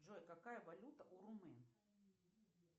джой какая валюта у румын